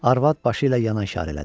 Arvad başı ilə yana işarə elədi.